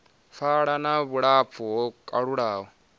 pfala na vhulapfu ho kalulaho